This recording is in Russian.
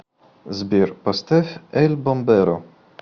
сбер поставь эль бомберо